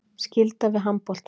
Skylda við handboltann